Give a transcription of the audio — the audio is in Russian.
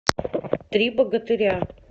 три богатыря